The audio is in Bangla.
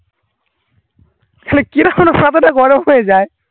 তাহলে কিরাম আমার মাথা টা গরম হয়ে যায়